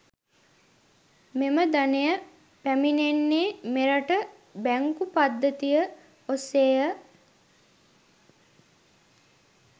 මෙම ධනය පැමිණෙන්නේ මෙරට බැංකු පද්ධතිය ඔස්සේය.